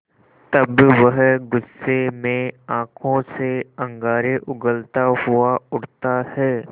तब वह गुस्से में आँखों से अंगारे उगलता हुआ उठता है